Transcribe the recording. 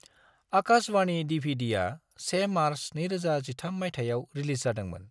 आकाश बाणी डि.भि.डि.आ 1 मार्च 2013 माइथायाव रिलिज जादोंमोन।